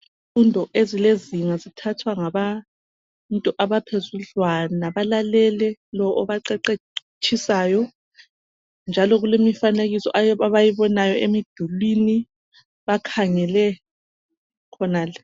Izifundo ezilezinga zithathwa ngabantu abaphezudlwana balalele lo abaqeqetshisayo njalo kulemifanekiso abayibonayo emdulwini bakhangele khonale.